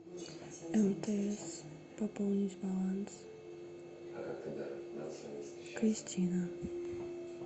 мтс пополнить баланс кристина